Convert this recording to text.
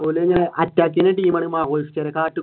or ഇങ്ങനെ